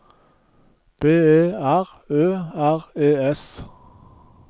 B E R Ø R E S